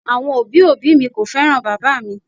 Awọn obi obi mi ko fẹran baba mi.